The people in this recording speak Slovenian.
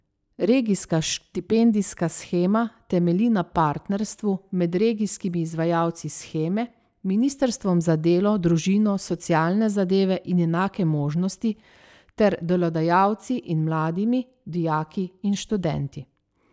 Regijska štipendijska shema temelji na partnerstvu med regijskimi izvajalci sheme, ministrstvom za delo, družino, socialne zadeve in enake možnosti ter delodajalci in mladimi, dijaki in študenti.